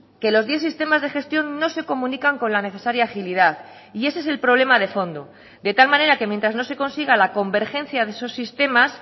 que los diez sistemas de gestión no se comunican con la necesaria agilidad y ese es el problema de fondo de tal manera que mientras no se consiga la convergencia de esos sistemas